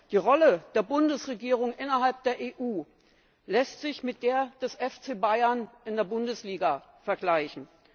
Die Rolle der Bundesregierung innerhalb der EU lässt sich mit der des FC Bayern in der Bundesliga vergleichen.